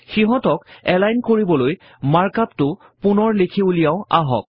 সিহঁতক এলাইন কৰিবলৈ mark up টো পুনৰ লিখি উলিয়াও আহক